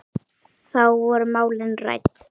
Þá voru málin rædd.